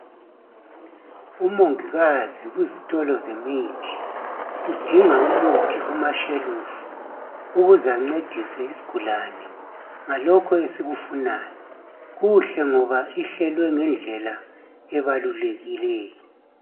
Umongikazi kuzitolo zemithi udinga umuthi kumashelufu ukuze ancedise isigulane ngalokho esikufunayo kuhle ngoba ihlelwe ngendlela ebalulekileyo.